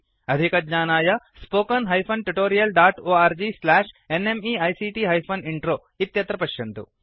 अधिकज्ञानाय spoken hyphen tutorial dot org slash NMEICT hyphen intro अत्र पश्यन्तु